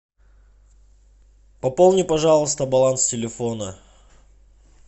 пополни пожалуйста баланс телефона